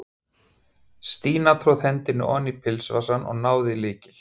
Stína tróð hendinni oní pilsvasann og náði í lykil.